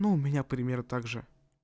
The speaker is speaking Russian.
ну у меня примерно также